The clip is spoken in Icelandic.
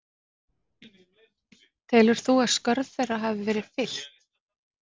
Telur þú að skörð þeirra hafi verið fyllt?